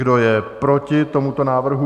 Kdo je proti tomuto návrhu?